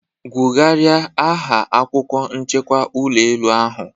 Gwugharia aha akwukwo nchekwa ulọ elu ahu.